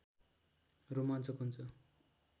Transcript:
रोमाञ्चक हुन्छ